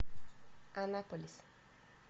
анаполис